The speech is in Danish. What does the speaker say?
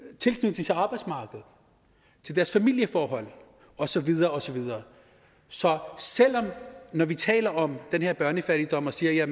tilknytning til arbejdsmarkedet til deres familieforhold og så videre og så videre så når vi taler om den her børnefattigdom og siger at